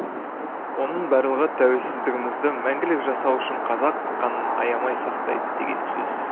оның барлығы тәуелсіздігімізді мәңгілік жасау үшін қазақ қанын аямай сақтайды деген сөз